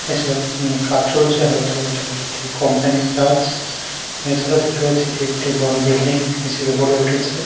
এসব নিয়ে কাজ চলছে হয়তো এটা একটি কোম্পানির কাজ। এছাড়াও দেখতে পাচ্ছি এটি একটি বড় বিল্ডিং হিসেবে গড়ে উঠেছে।